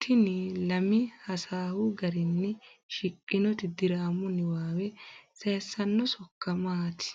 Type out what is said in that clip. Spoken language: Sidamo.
Tini lami hasaawu garinni shiqqinoti diraamu niwaawe sayissanno sokka maati?